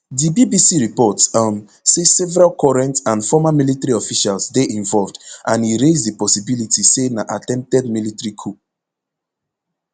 di bbc report um say several current and former military officials dey involved and e raise di possibility say na attempted military coup